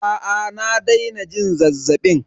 Aa na daina jin zazzabin.